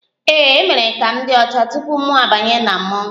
Ee, a mere ka m dị ọcha tupu mụ abanye na mmọnwụ